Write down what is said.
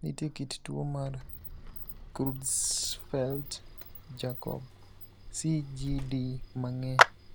Nitie kit tuo mar Creutzfeldt Jakob (CJD) mang'eny.